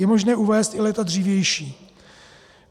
Je možné uvést i léta dřívější.